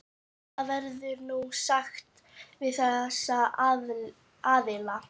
Hvað verður nú sagt við þessa aðila?